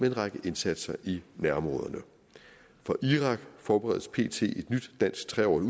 en række indsatser i nærområderne for irak forberedes pt et nyt dansk tre årig